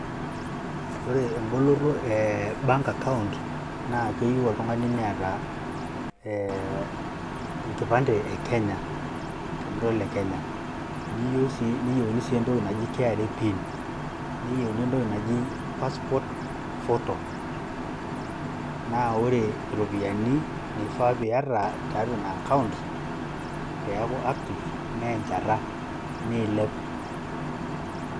Ore emboloto e bank account naa keyieu oltung`ani neeta enkipande e Kenya tenira ole Kenya. Neyieuni sii entoki naji KRA pin neyiuni entoki naji passport photo. Naa ore iiropiyiani naifaa niata teina account pee eaku active naa enchata neilep.